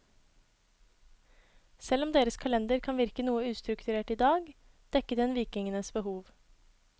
Selv om deres kalender kan virke noe ustrukturert i dag, dekket den vikingenes behov.